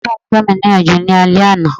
Bàbabàbá mi gbami níyànjú lálẹ́ àná.